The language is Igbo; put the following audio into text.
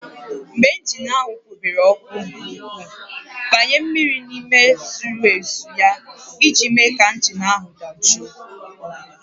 Mgbe injin ahụ kpobere ọkụ nke ukwuu, gbanye mmiri n'ime zuru ezu ya iji mee ka injin ahụ dajụọ